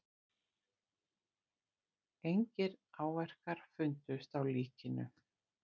Engir áverkar fundust á líkinu